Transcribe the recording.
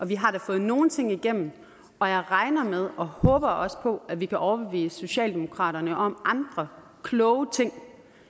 vi har da fået nogle ting igennem og jeg regner med og håber også på at vi kan overbevise socialdemokraterne om andre kloge ting